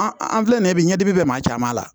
An an filɛ nin ye bi ɲɛdi bɛ maa caman la